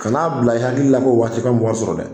Kana bila i hakilila ko waati i ka mɔgɔw sɔrɔ dɛ.